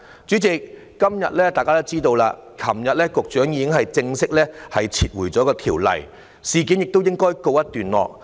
主席，今天大家也知道，局長昨天已經正式撤回有關條例草案，事件亦應告一段落。